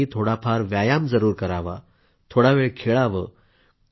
त्यासाठी थोडाफार व्यायाम जरूर करावा थोडावेळ खेळावं